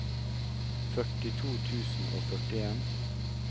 førtito tusen og førtien